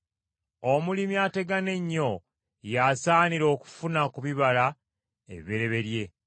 Omulimi ategana ennyo y’asaanira okufuna ku bibala ebibereberye.